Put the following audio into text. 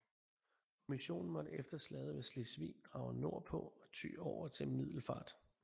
Kommissionen måtte efter Slaget ved Slesvig drage nord på og ty over til Middelfart